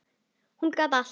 Hún gat allt.